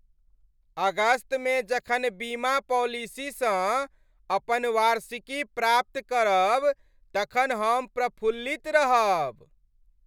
अगस्तमे जखन बीमा पॉलिसीसँ अपन वार्षिकी प्राप्त करब तखन हम प्रफुल्लित रहब।